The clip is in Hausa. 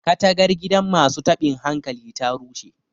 katagar gidan masu tabin hankali ta rushe